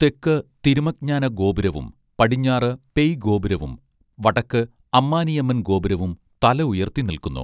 തെക്ക് തിരുമജ്ഞാന ഗോപുരവും പടിഞ്ഞാറ് പേയ്ഗോപുരവും വടക്ക് അമ്മാനിയമ്മൻ ഗോപുരവും തല ഉയർത്തി നിൽക്കുന്നു